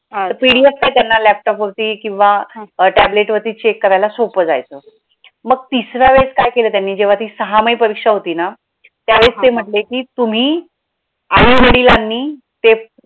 अं PDF काय त्यांना laptop वरती किंवा tablet वरती check करायला सोप्प जायचं मग तिसरा वेळेस काय केलं त्यांनी जेव्हा ती सहामाई परीक्षा होती ना त्या वेळेस ते म्हंटले के तुम्ही आई वडिलांनी ते